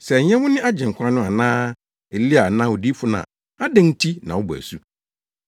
“Sɛ ɛnyɛ wo ne Agyenkwa no anaa Elia anaa Odiyifo no a, adɛn nti na wobɔ asu?”